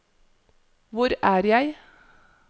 hvor er jeg